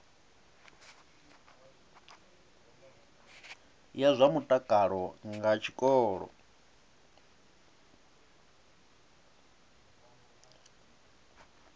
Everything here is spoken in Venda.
ya zwa mutakalo nga tshikolo